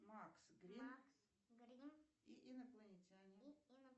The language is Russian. макс грин и инопланетяне